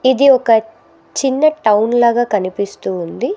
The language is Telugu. ఇది ఒక చిన్న టౌన్ లాగా కనిపిస్తూ ఉంది.